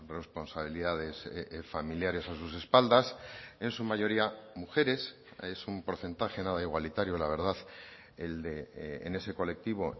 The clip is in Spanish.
responsabilidades familiares a sus espaldas en su mayoría mujeres es un porcentaje nada igualitario la verdad en ese colectivo